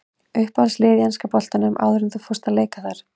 Uppáhaldslið í enska boltanum áður en að þú fórst að leika þar?